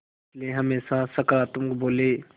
इसलिए हमेशा सकारात्मक बोलें